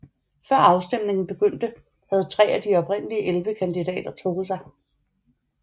Før afstemningen begyndte havde tre af de oprindeligt elleve kandidater trukket sig